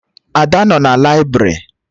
Ada nọ na laibrị